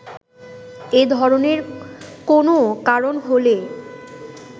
এ ধরনের কোনো কারণ হলে